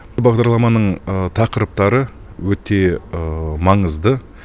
бағдарламаның тақырыптары өте маңызды